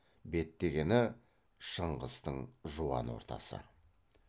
беттегені шыңғыстың жуан ортасы